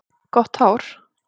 Gott hár.